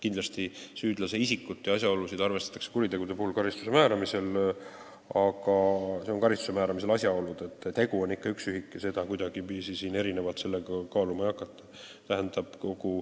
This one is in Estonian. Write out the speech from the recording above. Kindlasti arvestatakse süüdlase isikut ja asjaolusid kuriteo eest karistuse määramisel, aga tegu on ikka üks ühik ja seda kuidagiviisi erinevalt kaaluma ei hakata.